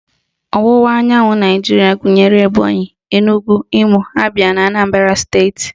Ọwụwa anyanwụ Naijiria gụnyere Ebonyị, Enugwu, Imo, Abịa na Anambara steeti